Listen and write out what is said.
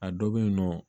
A dɔ bɛ yen nɔ